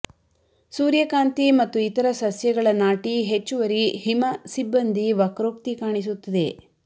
ಸೂರ್ಯಕಾಂತಿ ಮತ್ತು ಇತರ ಸಸ್ಯಗಳ ನಾಟಿ ಹೆಚ್ಚುವರಿ ಹಿಮ ಸಿಬ್ಬಂದಿ ವಕ್ರೋಕ್ತಿ ಕಾಣಿಸುತ್ತದೆ